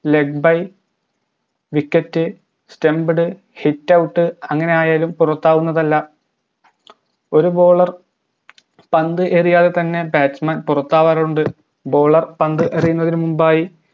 legby wicket stumped hitout അങ്ങനെ ആയാലും പുറത്താകുന്നതല്ല ഒര് bowler പന്ത് എറിയാതെ തന്നെ batsman പുറത്താകാറുണ്ട് bowler പന്ത് എറിയുന്നതിന് മുമ്പായി